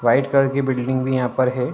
White colour की building भी यहा पर है।